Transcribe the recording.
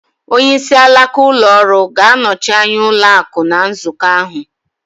Onyeisi alaka ụlọ ọrụ ga-anọchi anya ụlọ akụ̀ ná nzukọ ahụ